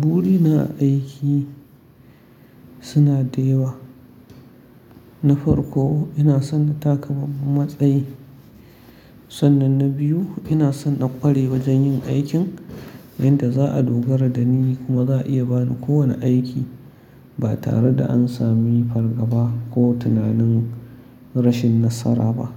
Burina a aiki suna da yawa. Na farko ina son na taka babban matsayi. Sannan na biyu ina son na ƙware wajen yin aikin inda za a dogara da ni kuma za a iya bani kowane aiki ba tare da an sami fargaba ko tunanin rashin nasara ba.